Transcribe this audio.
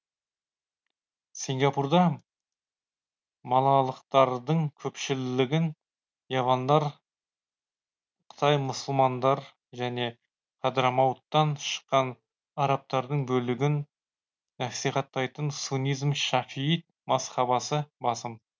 сингапурда малалықтардың көпшілігін явандар қытай мұсылмандар және хадрамауттан шыққан арабтардың бөлігін насихаттайтын суннизм шафиит мазхабасы басым